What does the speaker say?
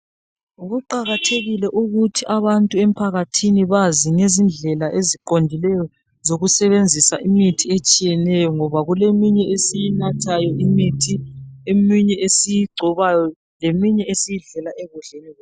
Kuqakathekile ukuthi abantu emphakathini bazi ngezindlela eziqondileyo zokusebenzisa imithi etshiyeneyo ngoba kuleminye esiyinathayo imithi, eminye esiyigcobayo leminye esiyidlela ekudleni kwethu.